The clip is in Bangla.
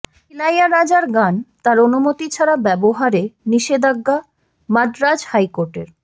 ইলাইয়ারাজর গান তাঁর অনুমতি ছাড়া ব্যবহারে নিষেধাজ্ঞা মাদ্রাজ হাইকোর্টের